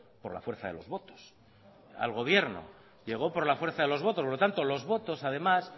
por la fuerza de los votos al gobierno llegó por la fuerza de los votos por lo tanto los votos además